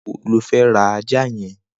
Nigbà wó ló fẹ̀ rà àjá yèn?